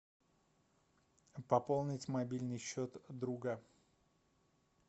пополнить мобильный счет друга